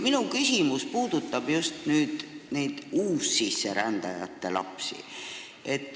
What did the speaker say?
Minu küsimus puudutab just neid uussisserändajate lapsi.